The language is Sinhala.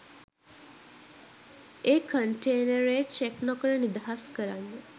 ඒ කන්ටේනරය චෙක් නොකර නිදහස් කරන්න